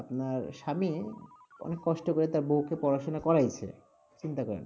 আপনার স্বামী অনেক কষ্ট করে তার বউকে পড়াশুনা করাইছে, চিন্তা করেন,